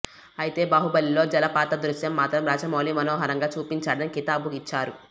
అయితే బాహుబలిలో జలపాత దృశ్యం మాత్రం రాజమౌళి మనోహరంగా చూపించాడని కితాబు ఇచ్చారు